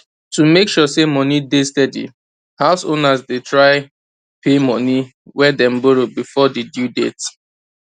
to make sure money dey steady house owners dey try pay money way dem borrow before di due date